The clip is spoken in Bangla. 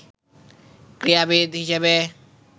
ক্রীড়াবিদ হিসেবে